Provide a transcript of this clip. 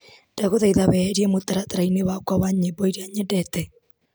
Ndagũthaitha weherie mũtaratara-inĩ wakwa wa nyĩmbo iria nyendete .